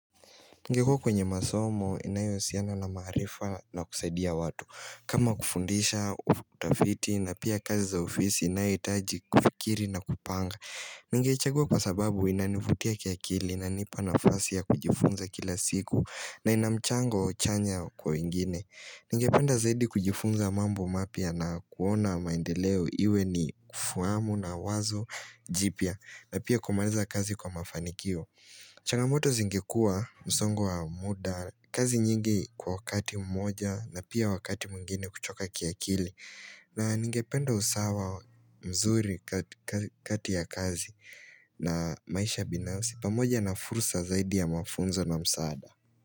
Ningekua kwenye masomo inayo husiana na maarifa na kusaidia watu kama kufundisha, utafiti na pia kazi za ofisi inayohitaji kufikiri na kupanga Ningechagua kwa sababu inanivutia kiakili inanipa nafasi ya kujifunza kila siku na ina mchango chanya kwa wengine Ningependa zaidi kujifunza mambo mapya na kuona maendeleo iwe ni kufahamu na wazo jipya na pia kumaliza kazi kwa mafanikio changamoto zingekuwa msongo wa muda, kazi nyingi kwa wakati mmoja na pia wakati mwingine kuchoka kiakili na ningependa usawa mzuri kati ya kazi na maisha binafsi pamoja na fursa zaidi ya mafunzo na msaada.